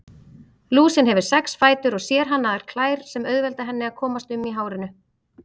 Lúsin hefur sex fætur og sérhannaðar klær sem auðvelda henni að komast um í hárinu.